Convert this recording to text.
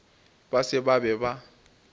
ba se ba be ba